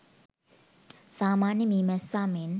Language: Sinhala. සාමාන්‍ය මී මැස්සා මෙන්